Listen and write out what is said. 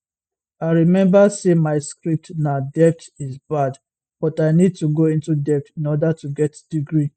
i remember say my script na debt is bad but i need to go into debt in order to get degree